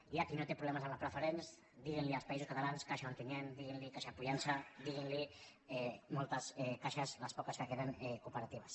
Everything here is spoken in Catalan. hi ha qui no té problemes amb les preferents diguin·ne als països catalans caixa on·tinyent diguin·ne caixa pollença diguin·ne moltes caixes les poques que queden cooperatives